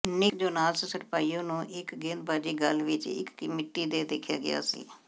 ਨਿੱਕ Jonas ਸਰਾਪਾਈਓ ਨੂੰ ਇੱਕ ਗੇਂਦਬਾਜ਼ੀ ਗਲ੍ਹ ਵਿੱਚ ਇੱਕ ਮਿਤੀ ਤੇ ਦੇਖਿਆ ਗਿਆ ਸੀ